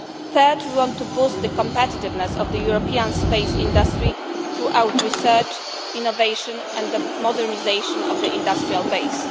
Third, we want to boost the competitiveness of the European space industry throughout research, innovation and the modernisation of the industrial